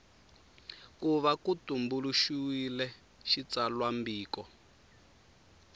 ku va ku tumbuluxiwile xitsalwambiko